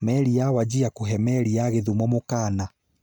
Meri ya Wajir kũve Meri ya Kithumo mũkaana